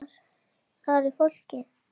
Þar er fólkið.